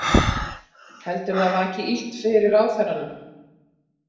Heldurðu að það vaki illt fyrir ráðherranum?